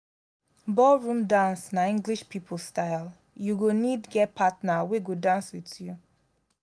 ballroom dance na english pipo style you go need get partner wey go dance with you